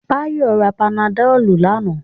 Báyọ̀ ra panadọ̀lù lánàá